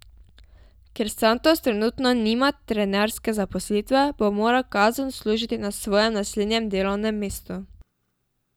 Ker Santos trenutno nima trenerske zaposlitve, bo moral kazen odslužiti na svojem naslednjem delovnem mestu.